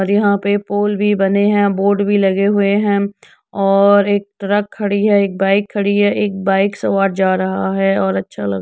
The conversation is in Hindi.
और यहाँ पे पोल भी बने हैं बोर्ड भी लगे हुए हैं। और एक ट्रक खड़ी हैएक बाइक खड़ी हैएक बाइक सवार जा रहा है और अच्छा लग --